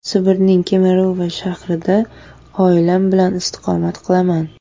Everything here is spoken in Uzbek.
Sibirning Kemerovo shahrida oilam bilan istiqomat qilaman.